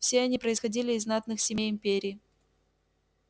все они происходили из знатных семей империи